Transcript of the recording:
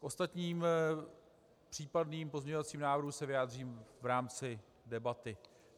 K ostatním případným pozměňovacím návrhům se vyjádřím v rámci debaty.